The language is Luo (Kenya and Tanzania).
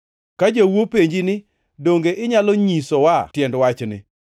“Ka jou openji ni, ‘Donge inyalo nyiswae tiend wachni?’